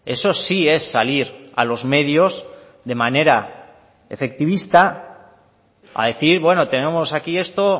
eso sí es salir a los medios de manera efectivista a decir bueno tenemos aquí esto